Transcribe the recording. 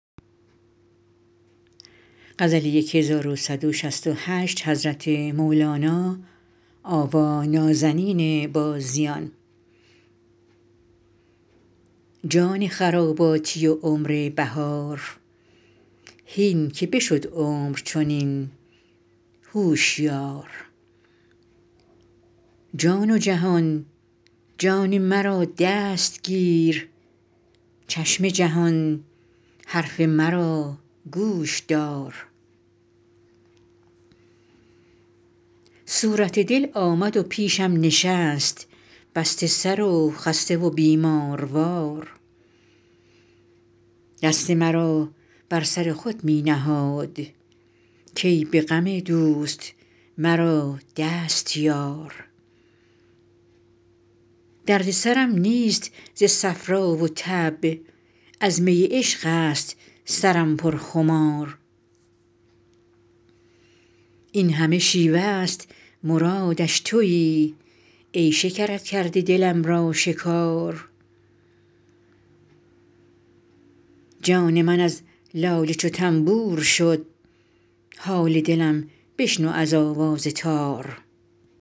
جان خراباتی و عمر بهار هین که بشد عمر چنین هوشیار جان و جهان جان مرا دست گیر چشم جهان حرف مرا گوش دار صورت دل آمد و پیشم نشست بسته سر و خسته و بیماروار دست مرا بر سر خود می نهاد کای به غم دوست مرا دست یار درد سرم نیست ز صفرا و تب از می عشق است سرم پر خمار این همه شیوه ست مرادش توی ای شکرت کرده دلم را شکار جان من از ناله چو تنبور شد حال دلم بشنو از آواز تار